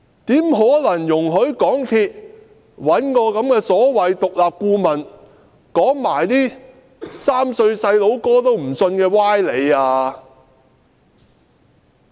怎可能容許港鐵公司找這個所謂獨立顧問說一些連3歲小孩都不相信的歪理呢？